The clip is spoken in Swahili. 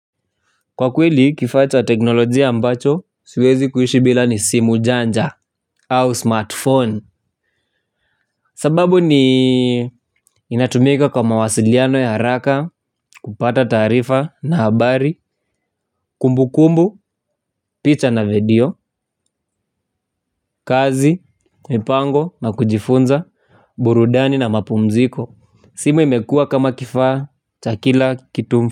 Kwa kweli kifacha teknolojia ambacho siwezi kuishi bila ni simu janja au smartphone. Sababu ni inatumika kwa mawasiliano ya haraka, kupata taarifa na habari, kumbu kumbu, picha na video, kazi, mipango, nakujifunza, burudani na mapumziko. Simu imekua kama kifaa, cha kila, kitu mfu.